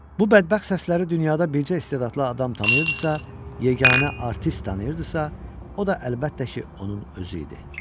Bu bədbəxt səsləri dünyada bircə istedadlı adam tanıyırdısa, yeganə artist tanıyırdısa, o da əlbəttə ki, onun özü idi.